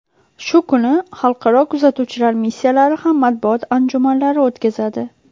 Shu kuni xalqaro kuzatuvchilar missiyalari ham matbuot anjumanlari o‘tkazadi.